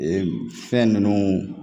Ee fɛn ninnu